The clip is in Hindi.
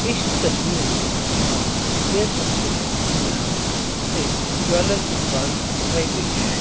इस तस्वीर में हम देख सकते हैं कि यहां एक ज्वेलर की दुकान दिखाई गई है।